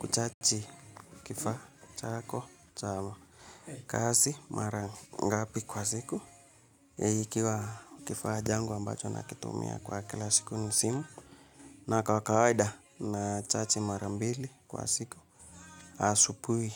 Huchachi kifaa chako cha kazi mara ngapi kwa siku ikiwa kifaa changu ambacho natumia kwa kila siku ni simu na kwa kawaida nachachi mara mbili kwa siku asubuhi